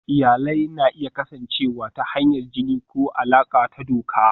Iyalai na iya kasancewa ta hanyar jini ko alaƙa ta doka.